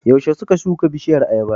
Yaushe suka shuka bishiyar ayabar?